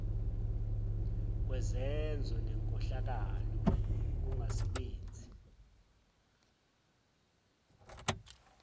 kwezenzo zenkohlakalo ukungasebenzi